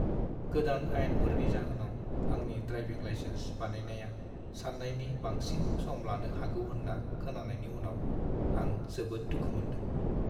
गोदान आयेनफोरनि जाहोनाव आंनि ड्राइभिं लाइसेन्स बानायनाया सान्नायनि बांसिन सम लानो हागौ होन्ना खोनानायनि उनाव आं जोबोद दुखु मोनदों।